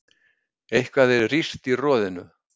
Eitthvað er rýrt í roðinu